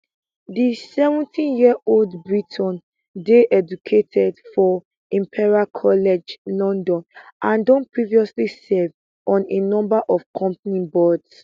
di 70yearold briton dey educated for imperial college london and don previously serve on a number of company boards